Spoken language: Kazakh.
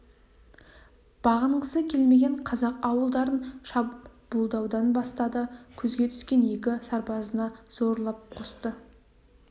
бағынғысы келмеген қазақ ауылдарын шабуылдаудан бастады көзге түскен екі сарбазына зорлап қосты